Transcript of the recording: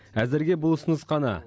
әзірге бұл ұсыныс қана